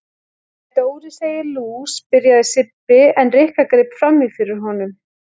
Ef Dóri segir lús. byrjaði Sibbi en Rikka greip fram í fyrir honum.